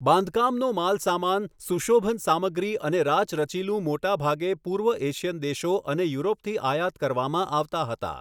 બાંધકામનો માલસામાન, સુશોભન સામગ્રી અને રાચરચીલું મોટાભાગે પૂર્વ એશિયન દેશો અને યુરોપથી આયાત કરવામાં આવતા હતા.